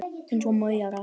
Eins og maurar.